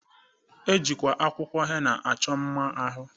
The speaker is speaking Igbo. E ji akwụkwọ henna achọ mma n'ahụ